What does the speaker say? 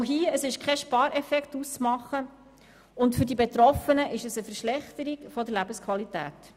Auch hier ist kein Spareffekt auszumachen, und für die Betroffenen ist es eine Verschlechterung der Lebensqualität.